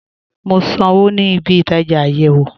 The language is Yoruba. Mo n sànwo ní ìbí-ìtajá ayéwo